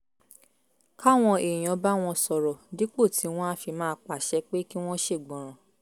káwọn èèyàn bá wọn sọ̀rọ̀ dípò tí wọ́n á fi máa pàṣẹ pé kí wọ́n ṣègbọràn